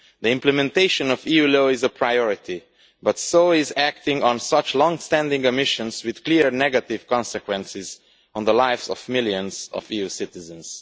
The implementation of EU law is a priority, but so is acting on such long standing omissions with clear negative consequences on the lives of millions of EU citizens.